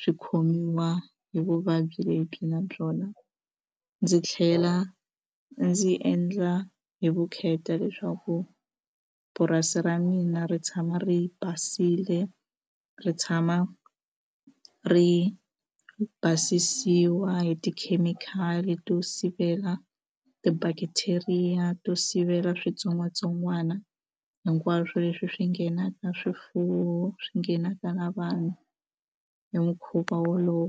swi khomiwa hi vuvabyi lebyi na byona ndzi tlhela ndzi endla hi vukheta leswaku purasi ra mina ri tshama ri basile ri tshama ri basisiwa hi tikhemikhali to sivela ti-bacteria to sivela switsongwatsongwana hinkwaswo leswi swi nghenaka swifuwo swi nghenaka na vanhu hi mukhuva wolowo.